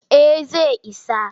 Eh zai isa.